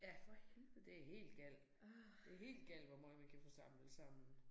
Ja for helvede det helt galt. Det helt galt hvor meget man kan få samlet sammen